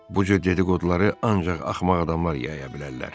Bu cür dedi-qoduları ancaq axmaq adamlar yaya bilərlər.